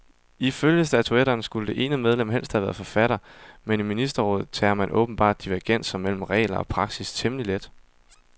Ifølge statutterne skulle det ene medlem helst have været forfatter, men i ministerrådet tager man åbenbart divergenser mellem regler og praksis temmelig let.